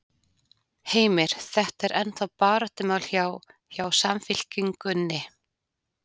Heimir: Þetta er ennþá baráttumál hjá, hjá Samfylkingunni?